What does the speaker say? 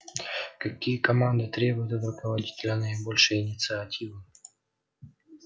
какие команды требуют от руководителя наибольшей инициативы